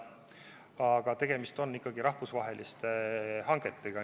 Aga tegemist on ikkagi rahvusvaheliste hangetega.